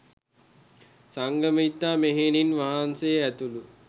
සංඝමිත්තා මෙහෙණින් වහන්සේ ඇතුළු